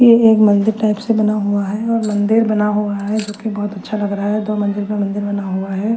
ये एक मदिर टाईप से बना हुआ है और मंदिर बना हुआ है जोकि बहोत अच्छा लग रहा है दो मंदिर पे मंदिर बना है।